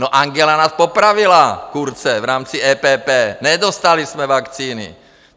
No, Angela nás popravila, Kurze, v rámci EPP, nedostali jsme vakcíny.